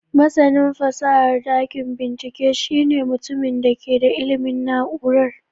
Masanin fasahar dakin bincike shine mutumin da ke da ilimin na'urar.